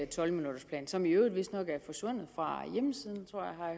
tolv minutters plan som i øvrigt vistnok er forsvundet fra hjemmesiden